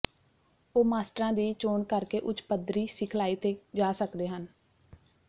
ਉਹ ਮਾਸਟਰਾਂ ਦੀ ਚੋਣ ਕਰਕੇ ਉੱਚ ਪੱਧਰੀ ਸਿਖਲਾਈ ਤੇ ਜਾ ਸਕਦੇ ਹਨ